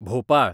Bhopal